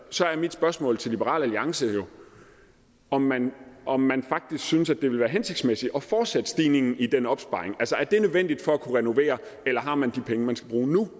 så er mit spørgsmål til liberal alliance jo om man om man faktisk synes at det ville være hensigtsmæssigt at fortsætte stigningen i den opsparing altså er det nødvendigt for at kunne renovere eller har man de penge man skal bruge nu